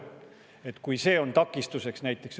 see on siis takistuseks?